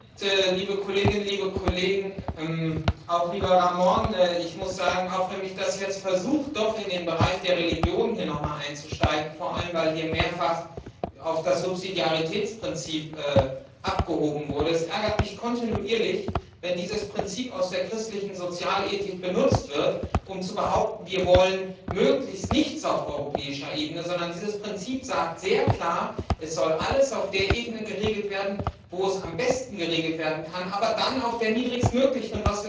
Herr Präsident, liebe Kolleginnen und Kollegen, lieber Ramon! Auch wenn ich jetzt versucht bin, in den Bereich der Religion einzusteigen, vor allem, weil hier mehrfach auf das Subsidiaritätsprinzip abgehoben wurde, ärgert es mich kontinuierlich, wenn dieses Prinzip aus der christlichen Sozialethik benutzt wird, um zu behaupten, wir wollen möglichst nichts auf europäischer Ebene. Dieses Prinzip sagt sehr klar, es soll alles auf der Ebene geregelt werden, wo es am besten geregelt werden kann, aber dann auf der niedrigst möglichen.